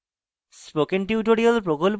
spoken tutorial প্রকল্প the